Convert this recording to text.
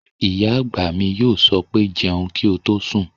Ìyá àgbà mi yóò sọ pé "jẹun kí o tó sùn!"